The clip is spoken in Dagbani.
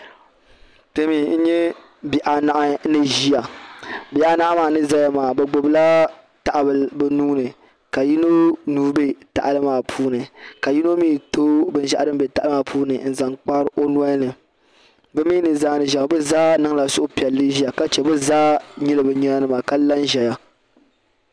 Kpemi n nyɛ bihi anahi niziya .bihi anahi maa niʒaya maa bi gbubla tahibila bi nuuni ka yino nuu bɛ tahili maa puuni ka yino mi tooi binshɛɣu dim bɛ tahili maa puuni maa n zaŋ kpari ɔnolini bimi zaa. niziya maa bizaa niŋla suhupiɛli ziya. ka che bizaa. nyila binyina nima kala nzaya